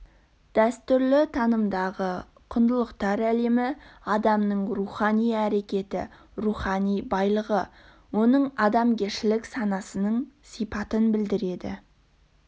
дәстүрлі танымдағы құндылықтар әлемі адамның рухани әрекеті рухани байлығы оның адамгершілік санасының сипатын білдірді